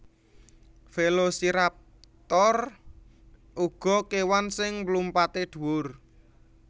Velociraptor uga kèwan sing mlumpatè dhuwur